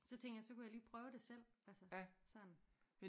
Så tænkte jeg så kunne jeg lige prøve det selv altså sådan